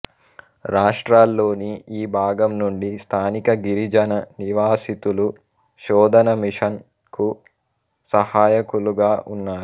రాష్ట్రలోని ఈ భాగం నుండి స్థానిక గిరిజన నివాసితులు శోధన మిషన్ కు సహాయకులుగా ఉన్నారు